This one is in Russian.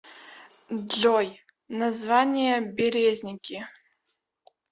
джой название березники